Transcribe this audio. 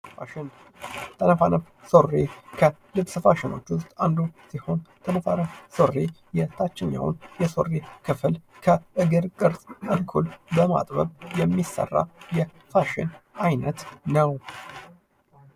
ፋሽን፦ ተነፋነፍ ሱሪ ከልብስ ፋሺኖ ዉስጥ አንዱ ሲሆን ተነፋነፍ ሱሪ የታችኛውን የሱሪ ክፍል ከእግር ቅርጽ እኩል በማጥበብ የሚሰራ የፋሽን አይነት ነው።